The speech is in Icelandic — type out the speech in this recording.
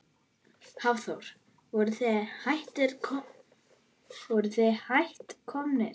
Hafþór: Voruð þið hætt komnir?